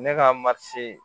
Ne ka